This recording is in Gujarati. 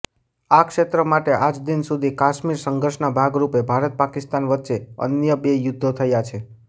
આ ક્ષેત્ર માટે આજદિન સુધી કાશ્મીર સંઘર્ષના ભાગરૂપે ભારતપાકિસ્તાન વચ્ચે અન્ય બે યુદ્ધો થયા છે